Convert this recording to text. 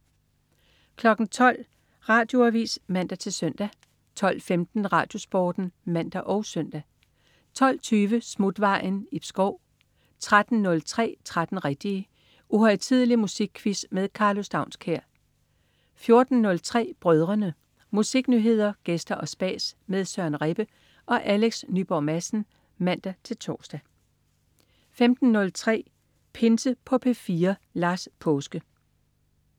12.00 Radioavis (man-søn) 12.15 RadioSporten (man og søn) 12.20 Smutvejen. Ib Schou 13.03 13 rigtige. Uhøjtidelig musikquiz med Karlo Staunskær 14.03 Brødrene. Musiknyheder, gæster og spas med Søren Rebbe og Alex Nyborg Madsen (man-tors) 15.03 Pinse på P4. Lars Paaske